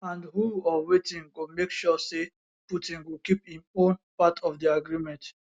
and who or wetin go make sure say putin go keep im own part of di agreement